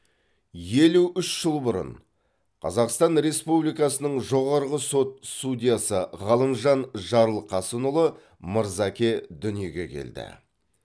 елу үш жыл бұрын қазақстан республикасының жоғарғы сот судьясы ғалымжан жарылқасынұлы мырзаке дүниеге келді